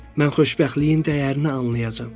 Mən xoşbəxtliyin dəyərini anlayacam.